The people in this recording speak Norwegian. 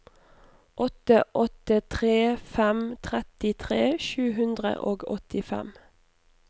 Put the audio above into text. åtte åtte tre fem trettitre sju hundre og åttifem